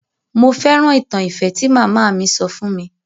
Mo fẹ́ràn ìtàn ìfẹ́ tí màmá mi sọ fún mi.